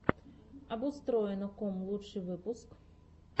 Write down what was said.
обустроено ком лучший выпуск